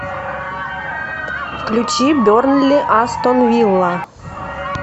включи бернли астон вилла